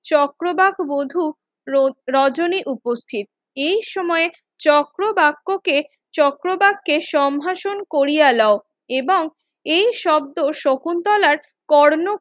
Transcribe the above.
চক্রবাক বধূ রজনী উপস্থিত এই সময়ে চক্রবাক্যকে চক্রবাক্যের সম্ভাষণ কোরিয়া লোউ এবং এই শব্ধ শকুন্তলার কর্ণ